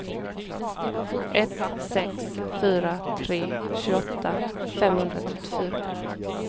ett sex fyra tre tjugoåtta femhundratrettiofyra